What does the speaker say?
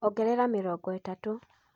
Ongerera mĩrongo ĩtatũ.